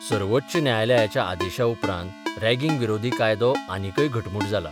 सर्वोच्च न्यायालयाच्या आदेशा उपरांत रॅगिंग विरोधी कायदो आनिकय घटमूट जाला.